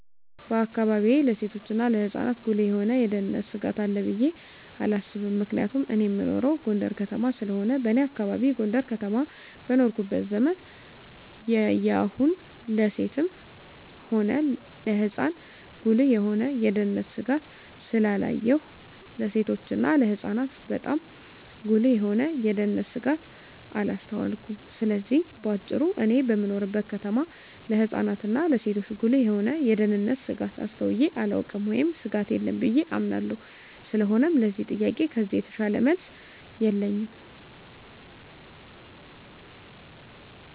በአካባቢየ ለሴቶችና ለህጻናት ጉልህ የሆነ የደህንነት ስጋት አለ ብየ አላስብም ምክንያቱም እኔ እምኖረው ጎንደር ከተማ ስለሆነ በኔ አካባቢ ጎንደር ከተማ በኖርኩበት ዘመን ያየሁን ለሴትም ሆነ ለህጻን ጉልህ የሆነ የደህንነት ስጋት ስላላየሁ ለሴቶችና ለህጻናት ባጣም ጉልህ የሆነ የደንነት ስጋት አላስተዋልኩም ስለዚህ በአጭሩ እኔ በምኖርበት ከተማ ለህጻናት እና ለሴቶች ጉልህ የሆነ የደህንነት ስጋት አስተውየ አላውቅም ወይም ስጋት የለም ብየ አምናለሁ ስለሆነም ለዚህ ጥያቄ ከዚህ የተሻለ መልስ የለኝም።